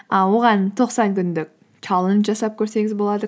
і оған тоқсан күндік чаллендж жасап көрсеңіз болады